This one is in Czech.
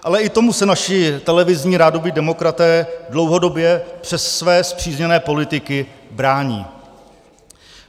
Ale i tomu se naši televizní rádoby demokraté dlouhodobě přes své spřízněné politiky brání.